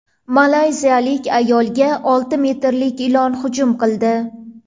Malayziyalik ayolga olti metrlik ilon hujum qildi.